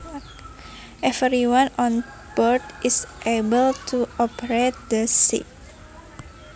Everyone on board is able to operate the ship